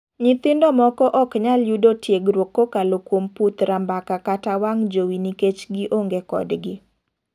Nyithindo moko ok nyaklyudo tiegruok kokalo kuom puth rambaka kata wang' jowi nikech gi ong'e kod gi.